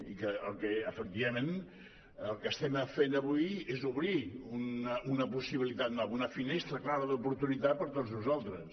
i efectivament el que estem fent avui és obrir una possibilitat una finestra clara d’oportunitat per a tots nosaltres